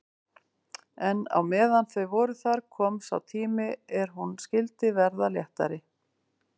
En meðan þau voru þar kom sá tími er hún skyldi verða léttari.